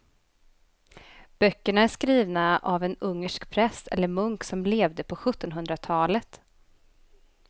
Böckerna är skrivna av en ungersk präst eller munk som levde på sjuttonhundratalet.